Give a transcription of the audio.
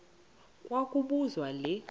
kwa kobuzwa le